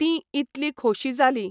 तीं इतली खोशी जाली.